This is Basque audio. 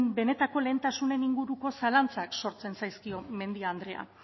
benetako lehentasunen inguruko zalantzak sortzen zaizkio mendia andrea